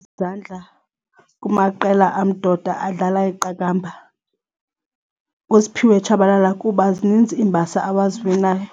Izandla kumaqela amdoda adlala iqakamba nguSphiwe Tshabalala kuba zininzi iimbasa awaziwinayo.